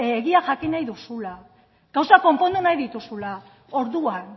egia jakin nahi duzula gauzak konpondu nahi dituzula orduan